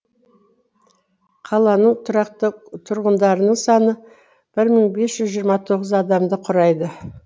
қаланың тұрақты тұрғындарының саны бір мың бес жүз жиырма тоғыз адамды құрайды